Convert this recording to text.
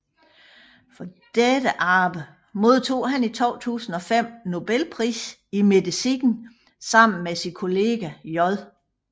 For dette arbejde modtog han i 2005 Nobelprisen i medicin sammen med sin kollega J